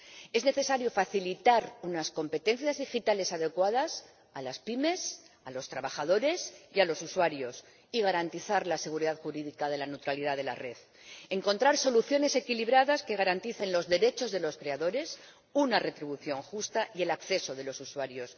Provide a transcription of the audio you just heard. Es necesario facilitar unas competencias digitales adecuadas a las pymes, a los trabajadores y a los usuarios, garantizar la seguridad jurídica de la neutralidad de la red y encontrar soluciones equilibradas que garanticen los derechos de los creadores, una retribución justa y el acceso de los usuarios.